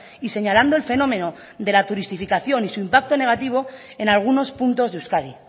y señalando el fenómeno de la turistificación y su impacto negativo en algunos puntos de euskadi